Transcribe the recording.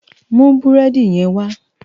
Mú búrèdi yèn wá